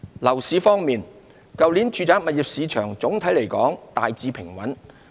樓市方面，去年住宅物業市場總體來說大致平穩。